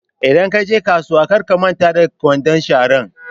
Idan kaje kasuwa kar ka manta da kwandon sharan